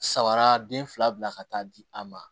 Sabara den fila bila ka taa di a ma